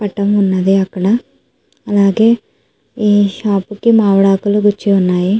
పటం ఉన్నది అక్కడ అలాగే ఈ షాప్ కి మామిడాకులు గుచ్చి ఉన్నాయి.